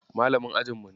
Malamin ajinmu ne.